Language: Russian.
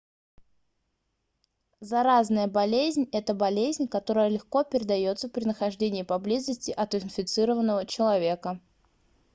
заразная болезнь это болезнь которая легко передается при нахождении поблизости от инфицированного человека